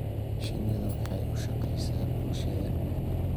Shinnidu waxay u shaqaysaa bulshada.